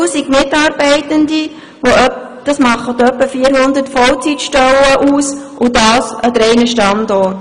Sie hat rund 1000 Mitarbeitende, deren Anstellungen in etwa 400 Vollzeitstellen ausmachen, und dies an drei Standorten.